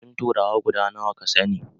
Abincin turawa guda nawa ka sani?